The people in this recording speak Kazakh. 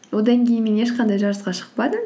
одан кейін мен ешқандай жарысқа шықпадым